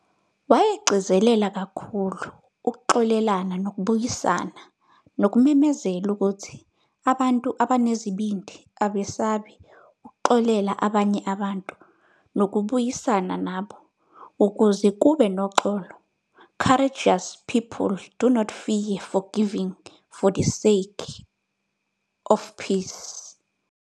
Wayegcizelela kakhulu ukuxolelana nokubuyisana, nokumemezela ukuthi "abantu abanezibindi abesabi ukuxolela abanye abantu nokubuyisana nabo, ukuze kube noxolo, "courageous people do not fear forgiving, for the sake of peace,"